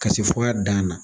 Kase fɔ a dan na.